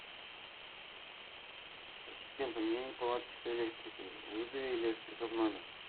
ассистент у меня неполадки с электрикой вызови электрика в номер